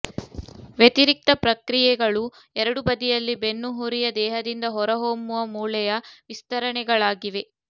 ವ್ಯತಿರಿಕ್ತ ಪ್ರಕ್ರಿಯೆಗಳು ಎರಡೂ ಬದಿಯಲ್ಲಿ ಬೆನ್ನುಹುರಿಯ ದೇಹದಿಂದ ಹೊರಹೊಮ್ಮುವ ಮೂಳೆಯ ವಿಸ್ತರಣೆಗಳಾಗಿವೆ